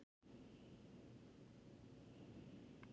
Þeir voru tveir og kosnir til eins árs í senn.